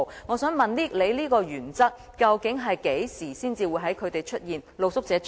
我想問局長，你所說的原則究竟何時才會出現？